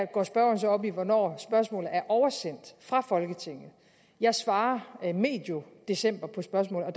går spørgeren så op i hvornår spørgsmålet er oversendt fra folketinget jeg svarer medio december på spørgsmålet og